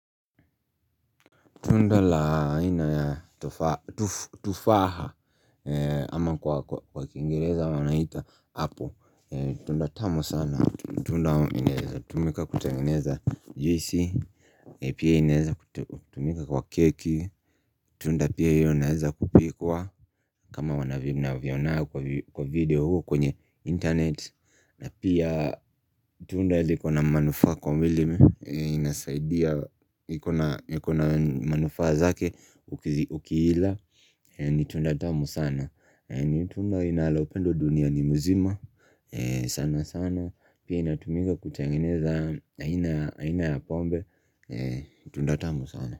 Tunda la aina ya tufaha ama kwa kwa kiingereza wanaita apple. Tunda tamu sana, tunda inaweza tumika kutengeneza juisi, pia inaweza tumika kwa keki Tunda pia inaweza kupikwa kama unavyoonanga kwenye video huu kwenye internet na pia tunda liko na manufaa kwa mwili inasaidia ikona manufaa zake ukiila ni tunda tamu sana ni tunda inalopendwa duniani mzima. Sana sana Pia inatumika kutengeneza aina ya pombe Tunda tamu sana.